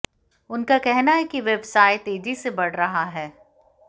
उनका कहना है कि व्यवसाय तेजी से बढ़ रहा है